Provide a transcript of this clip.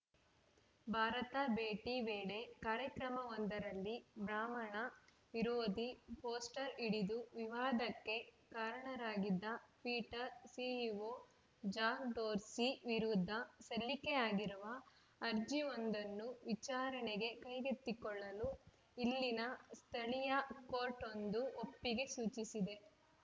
ಭಾರತ ಭೇಟಿ ವೇಳೆ ಕಾರ್ಯಕ್ರಮವೊಂದರಲ್ಲಿ ಬ್ರಾಹ್ಮಣ ವಿರೋಧಿ ಪೋಸ್ಟರ್‌ ಹಿಡಿದು ವಿವಾದಕ್ಕೆ ಕಾರಣರಾಗಿದ್ದ ಪಿಟರ್‌ ಸಿಇಒ ಜಾಕ್‌ ಡೋರ್ಸಿ ವಿರುದ್ಧ ಸಲ್ಲಿಕೆಯಾಗಿರುವ ಅರ್ಜಿಯೊಂದನ್ನು ವಿಚಾರಣೆಗೆ ಕೈಗೆತ್ತಿಕೊಳ್ಳಲು ಇಲ್ಲಿನ ಸ್ಥಳೀಯ ಕೋರ್ಟ್‌ವೊಂದು ಒಪ್ಪಿಗೆ ಸೂಚಿಸಿದೆ